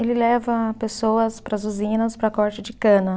Ele leva pessoas para as usinas para corte de cana.